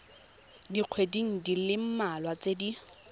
dikgweding di le mmalwa tse